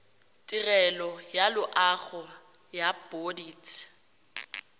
tirelo ya loago ya bodit